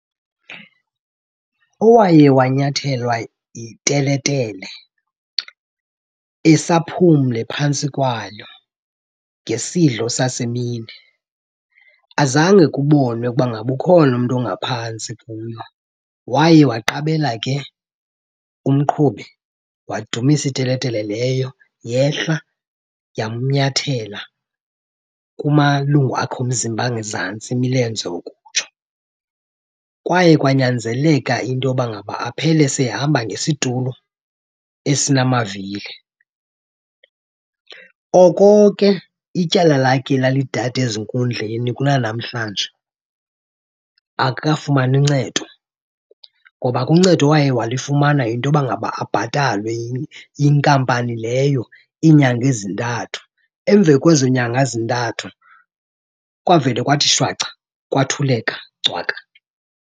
Owaye wanyathelwa yiteletele esaphumle phantsi kwayo ngesidlo sasemini. Azange kubonwe ukuba ngaba ukhona umntu ongaphantsi kuyo. Waye waqabela ke umqhubi wadumisa iteletele leyo yehla yamnyathela kumalungu akhe omzimba angezantsi, imilenze ukutsho. Kwaye kwanyanzeleka into yoba ngaba aphele sehamba ngesitulo esinamavili. Oko ke ityala lakhe lalidada ezinkundleni kunanamhlanje akakafumani ncedo. Ngoba ke uncedo awaye walifumana yinto yoba ngaba abhatalwe inkampani leyo iinyanga ezintathu. Emva kwezo nyanga zintathu kwavela kwathi shwaca kwathuleka cwaka.